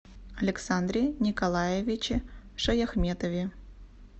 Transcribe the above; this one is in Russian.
александре николаевиче шаяхметове